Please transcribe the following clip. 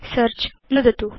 search नुदतु